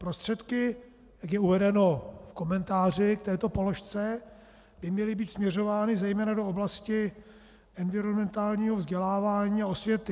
Prostředky, jak je uvedeno v komentáři k této položce, by měly být směřovány zejména do oblasti environmentálního vzdělávání a osvěty.